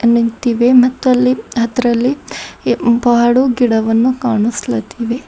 ನಿಂತಿವೆ ಮತ್ತು ಅಲ್ಲಿ ಅದ್ರಲ್ಲಿ ಏ ಬಾಳು ಗಿಡವನ್ನು ಕಾಣಿಸ್ಲಾತ್ತಿವೆ.